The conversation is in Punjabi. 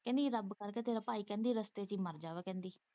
ਕਹਿੰਦੀ ਰੱਬ ਕਰਕੇ ਤੇਰਾ ਭਾਈ ਕਹਿੰਦੀ ਰਸਤੇ ਚ ਹੀ ਮਰ ਜਾਵੇ ਕਹਿੰਦੀ।